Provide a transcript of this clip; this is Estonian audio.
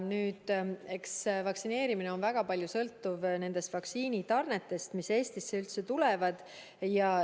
Eks vaktsineerimine sõltub väga paljuski vaktsiinitarnetest, mis Eestisse tulevad.